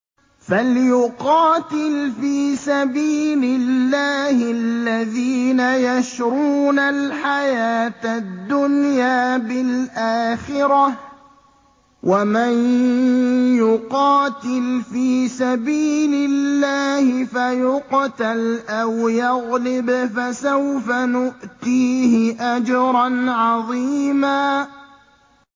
۞ فَلْيُقَاتِلْ فِي سَبِيلِ اللَّهِ الَّذِينَ يَشْرُونَ الْحَيَاةَ الدُّنْيَا بِالْآخِرَةِ ۚ وَمَن يُقَاتِلْ فِي سَبِيلِ اللَّهِ فَيُقْتَلْ أَوْ يَغْلِبْ فَسَوْفَ نُؤْتِيهِ أَجْرًا عَظِيمًا